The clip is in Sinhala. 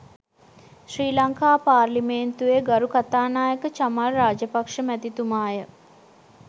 ශ්‍රී ලංකා පාර්ලිමේන්තුවේ ගරු කථානායක චමල් රාජපක්ෂ මැතිතුමාය.